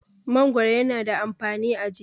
mangoro yana da amfani a jiki